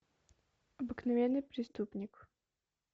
обыкновенный преступник